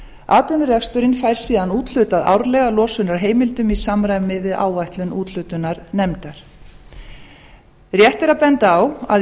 atvinnureksturinn fær síðan úthlutað árlega losunarheimildum í samræmi við áætlun úthlutunarnefndar rétt er að benda á að í